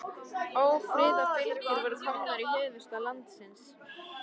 Ófriðarfylgjur voru komnar í höfuðstað landsins.